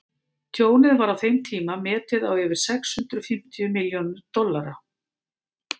tjónið var á þeim tíma metið á yfir sex hundruð fimmtíu milljón dollara